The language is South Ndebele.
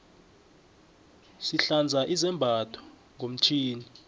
sihlanza izambatho ngomtjhini